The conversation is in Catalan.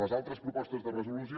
les altres propostes de resolució